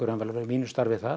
við mínu starfi þar